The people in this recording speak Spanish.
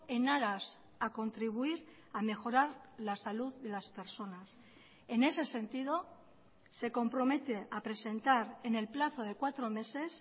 en aras a contribuir a mejorar la salud de las personas en ese sentido se compromete a presentar en el plazo de cuatro meses